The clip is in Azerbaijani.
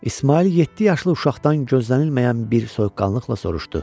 İsmayıl yeddi yaşlı uşaqdan gözlənilməyən bir soyuqqanlıqla soruşdu: